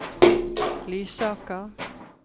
Lysaker